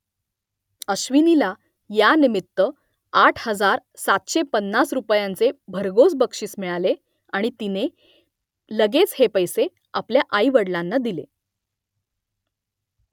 अश्विनीला यानिमित्त आठ हजार सातशे पन्नास रुपयांचे भरघोस बक्षीस मिळाले आणि तिने लगेच हे पैसे आपल्या आईवडलांना दिले